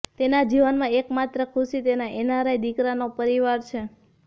તેના જીવનમાં એક માત્ર ખુશી તેના એનઆરઆઇ દિકરાનો પરિવાર છે